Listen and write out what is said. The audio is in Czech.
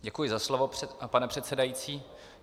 Děkuji za slovo, pane předsedající.